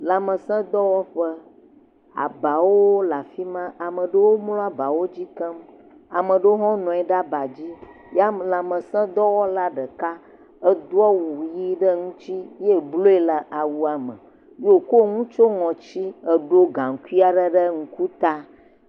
Lãmesẽdɔwɔƒe, abawo le afi ma, ame aɖewo mlɔ aba dzi keŋ. Ame aɖewo hã nɔ anyi ɖe aba dzi ye lãmesẽdɔwɔla ɖeka edo awu ʋi ɖe ŋuti ye blua le awua me wòkɔ nu tsiɔ ŋɔti eɖo gaŋkui aɖe ɖe ŋku ta.